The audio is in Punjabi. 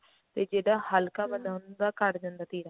ਤੇ ਜਿਹੜਾ ਹਲਕਾ ਬੰਦਾ ਹੁੰਦਾ ਉਹਦਾ ਘੱਟ ਜਾਂਦਾ ਤੀਰਾ